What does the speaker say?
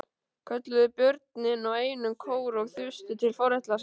kölluðu börnin í einum kór og þustu til foreldra sinna.